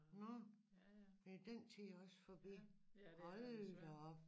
Nå er den tid også forbi hold da op